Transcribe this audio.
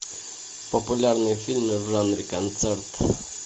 популярные фильмы в жанре концерт